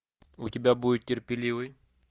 у тебя будет терпеливый